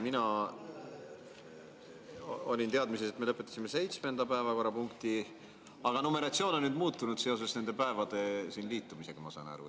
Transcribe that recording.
Mina olin teadmises, et me lõpetasime seitsmenda päevakorrapunkti, aga numeratsioon on nüüd muutunud seoses nende päevade liitumisega, ma saan aru.